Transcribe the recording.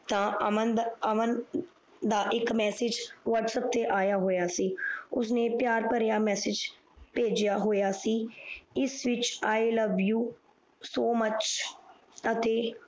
ਤਾਂ ਅਮਮ ਦਾ ਇਕ Massage ਆਯਾ ਹੋਇਆ ਸੀ ਉਸ ਨੇ ਪਿਆਰ ਪਰਾ ਮੈਸਜ ਪੀਯਾ ਹੋਇਆ ਸੀ ਇਸ ਵਿਚ I love you so much